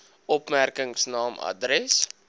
opmerkings naam adres